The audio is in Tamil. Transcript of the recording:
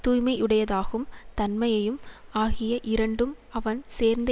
தூய்மையுடையதாகும் தன்மையும் ஆகிய இரண்டும் அவன் சேர்ந்த